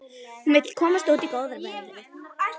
Hún vill komast út í góða veðrið.